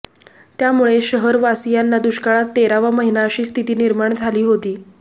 त्यामुळे शहरवासीयांना दुष्काळात तेरावा महिना अशी स्थिती निर्माण झाली होती